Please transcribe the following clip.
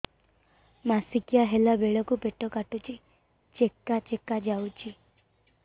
ମାସିକିଆ ହେଲା ବେଳକୁ ପେଟ କାଟୁଚି ଚେକା ଚେକା ଯାଉଚି